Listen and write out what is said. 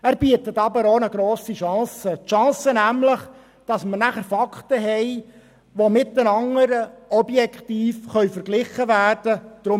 Er bietet aber auch eine grosse Chance – die Chance, dass nachher Fakten vorhanden sind und diese objektiv miteinander verglichen werden können.